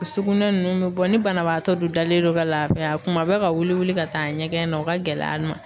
Sugunɛ ninnu be bɔ ni banabaatɔ dun dalen don ka laafiya kuma bɛ ka wuli wuli ka taa ɲɛgɛn na o ka gɛlɛ a ma.